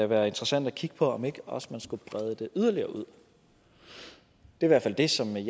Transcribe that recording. være interessant at kigge på om ikke også man skulle brede det yderligere ud det som jeg i